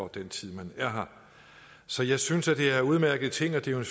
den tid man er her så jeg synes at det er udmærkede ting og det er jo